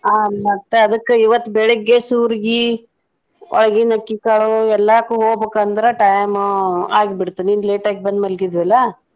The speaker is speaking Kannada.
ಆ ಮತ್ತೆ ಅದಕ್ಕ್ ಇವತ್ತ್ ಬೆಳಗ್ಗೆ ಸೂರ್ಗಿ, ಒಳಗಿನ ಅಕ್ಕಿ ಕಾಳು ಎಲ್ಲಾಕು ಹೋಗ್ಬೇಕಂದ್ರ time ಆಗಿ ಬಿಡ್ತ್ ನಿನ್ನ್ late ಆಗಿ ಬಂದ್ ಮಲಗಿದ್ವಿ ಅಲ್ಲಾ.